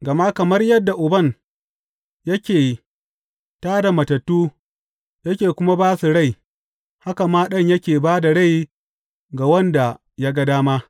Gama kamar yadda Uban yake tā da matattu yake kuma ba su rai, haka ma Ɗan yake ba da rai ga wanda ya ga dama.